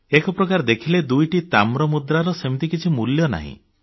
ଏକ ପ୍ରକାର ଦେଖିଲେ ଦୁଇଟି ତାମ୍ର ମୁଦ୍ରାର ସେମିତି କିଛି ମୂଲ୍ୟ ନାହିଁ